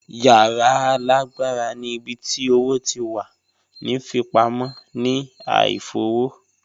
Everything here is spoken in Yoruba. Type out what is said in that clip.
Yara laagbara ni ibi ti owo ti wa ni fipamọ ni a ifowo